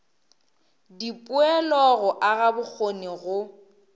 dipoelo go aga bokgoni go